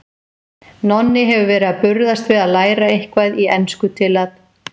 Nonni hefur verið að burðast við að læra eitthvað í ensku til að